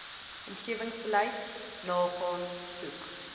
omgewingsbeleid nagaan soek